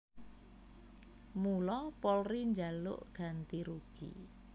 Mula Polri njaluk ganti rugi